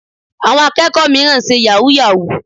Àwọn akẹ́kọ̀ọ́ mìíràn ń ṣe yahoo yahoo.